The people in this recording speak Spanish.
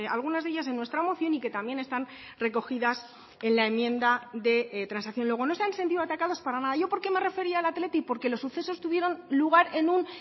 algunas de ellas en nuestra moción y que también están recogidas en la enmienda de transacción luego no se han sentido atacados para nada yo por qué me refería al athletic porque los sucesos tuvieron lugar en un